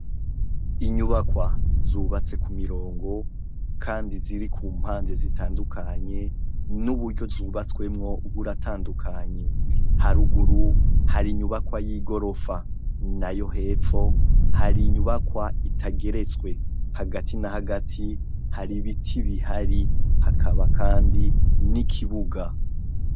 Inyubakwa zubatse ku mirongo kandi ziri ku mpande zitandukanye, n'uburyo zubatswemwo buratandukanye, haruguru hari inyubakwa y'igorofa, nayo hepfo hari inyubakwa itageretswe, hagati na hagati hari ibiti bihari hakaba kandi n'ikibuga.